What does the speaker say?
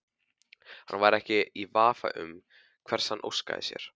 Hann væri ekki í vafa um hvers hann óskaði sér.